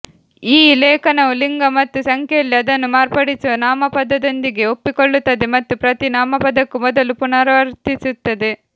ಈ ಲೇಖನವು ಲಿಂಗ ಮತ್ತು ಸಂಖ್ಯೆಯಲ್ಲಿ ಅದನ್ನು ಮಾರ್ಪಡಿಸುವ ನಾಮಪದದೊಂದಿಗೆ ಒಪ್ಪಿಕೊಳ್ಳುತ್ತದೆ ಮತ್ತು ಪ್ರತಿ ನಾಮಪದಕ್ಕೂ ಮೊದಲು ಪುನರಾವರ್ತಿಸುತ್ತದೆ